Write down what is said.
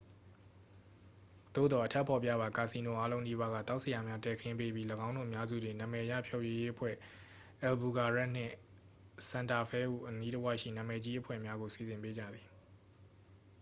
သို့သော် အထက်ဖော်ပြပါ ကာစီနိုအားလုံးနီးပါးက သောက်စရာများ တည်ခင်းပေးပြီး ၎င်းတို့အများစုတွင် နာမည်ရဖျော်ဖြေရေးအဖွဲ့ အယ်ဘူကွာရက်နှင့် ဆန်တာဖဲဟု အနီးတဝိုက်ရှိ နာမည်ကြီးအဖွဲ့များ ကို စီစဉ်ပေးကြသည်။